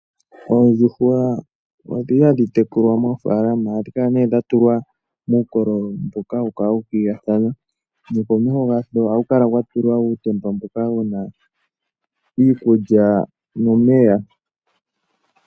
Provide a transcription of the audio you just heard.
Oondjuhwa odhi li hadhi tekulwa moofaalama. Ohadhi kala nee dha tulwa muukololo mboka hawu kala wu ukililathano nokomeho gasho ohaku kala kwa tulwa uutemba mboka wu na iikulya nomeya.